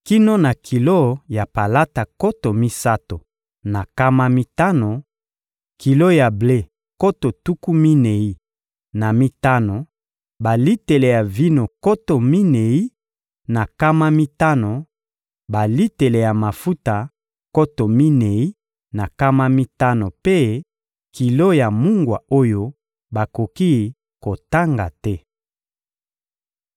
kino na kilo ya palata nkoto misato na nkama mitano, kilo ya ble nkoto tuku minei na mitano, balitele ya vino nkoto minei na nkama mitano, balitele ya mafuta nkoto minei na nkama mitano mpe kilo ya mungwa oyo bakoki kotanga te.